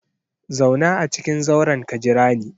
Zauna a cikin zauren ka jira ni!